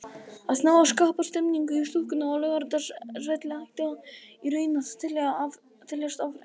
Að ná að skapa stemningu í stúkunni á Laugardalsvelli ætti í raun að teljast afrek.